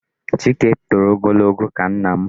Chike toro ogologo ka nna m.